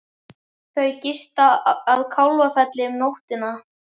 Þau gista að Kálfafelli um nóttina.